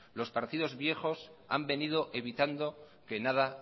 los partidos viejos han venido evitando que nada